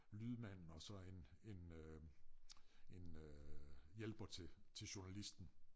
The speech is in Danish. Lydmand og så en en øh en øh hjælper til til journalisten